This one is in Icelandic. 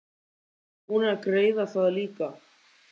Eru þeir búnir að greiða það líka?